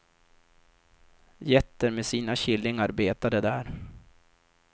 Getter med sina killingar betade där.